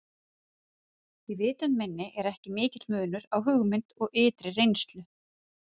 Í vitund minni er ekki mikill munur á hugmynd og ytri reynslu.